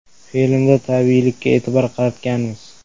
Filmda tabiiylikka e’tibor qaratganmiz.